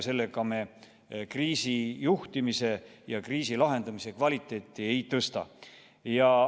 Sellega me kriisi juhtimise ja kriisi lahendamise kvaliteeti ei tõsta.